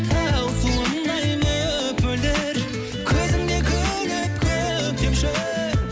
тау суындай мөп мөлдір көзімен күліп көктемші